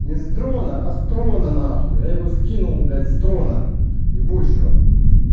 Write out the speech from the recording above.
не с дрона а с трона на хуй я его скинул блять с трона ебучего